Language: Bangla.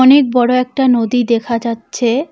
অনেক বড়ো একটা নদী দেখা যাচ্ছে।